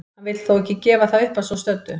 Hann vill þó ekki gefa það upp að svo stöddu.